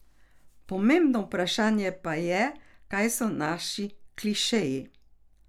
Pomembno vprašanje pa je kaj so naši klišeji.